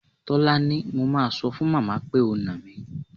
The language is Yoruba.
Tólání, mo máa sọ fún màmá pé o nà mí.